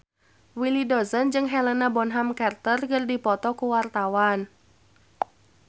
Willy Dozan jeung Helena Bonham Carter keur dipoto ku wartawan